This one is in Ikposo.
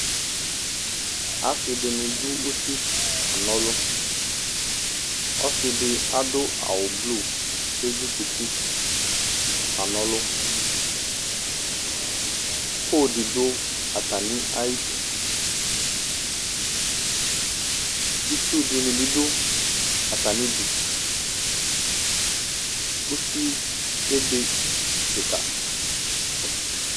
Ase de ne do usi kana ɔlu Ɔse de ado awu blu ko ezukuti kana ɔlu Pole de do atane du, Itsu de ne be do atane du Usi ebe kika